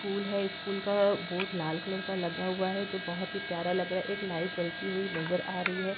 School है school का board लाल कलर का लगा हुआ है जो बहोत ही प्यारा लग रहा है एक लाईट जलती हुई नजर आ रही है।